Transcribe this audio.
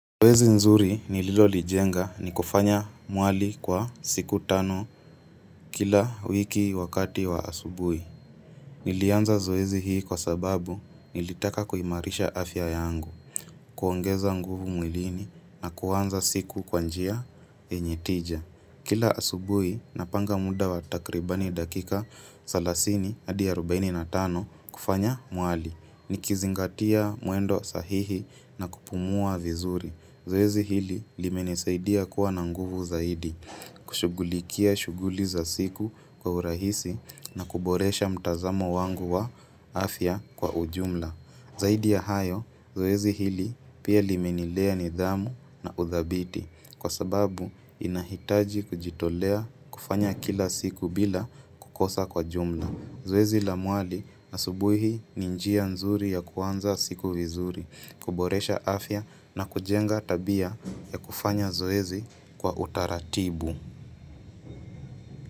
Zoezi nzuri ni lilo lijenga ni kufanya mwali kwa siku tano kila wiki wakati wa asubui. Nilianza zoezi hii kwa sababu nilitaka kuimarisha afya yangu, kuongeza nguvu mwilini na kuanza siku kwanjia yenye tija. Kila asubui napanga muda watakribani dakika salasini adi arubaini na tano kufanya mwali. Ni kizingatia mwendo sahihi na kupumua vizuri. Zoezi hili limenisaidia kuwa nanguvu zaidi, kushughulikia shughuli za siku kwa urahisi na kuboresha mtazamo wangu wa afya kwa ujumla. Zaidi ya hayo, zoezi hili pia limenilea nidhamu na udhabiti kwa sababu inahitaji kujitolea kufanya kila siku bila kukosa kwa jumla. Zoezi la mwali na subuhi ninjia nzuri ya kuanza siku vizuri, kuboresha afya na kujenga tabia ya kufanya zoezi kwa utaratibu.